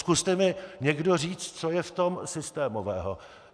Zkuste mi někdo říct, co je v tom systémového.